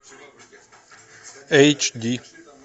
эйч ди